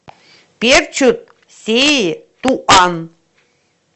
перчут сеи туан